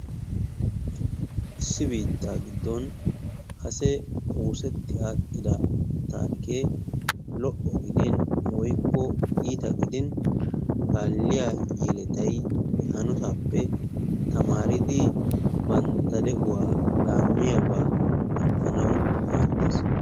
Issi biittaa giddon kase oosetti adhdhida taarikkee lo"o gidin woykko iita gidin kaaliya yelettay he hanotaappe tamaaridi bantta de'uwa laammiyaabaa ekkanawu maaddees.